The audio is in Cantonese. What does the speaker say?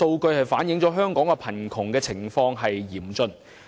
這反映出香港貧窮情況嚴重。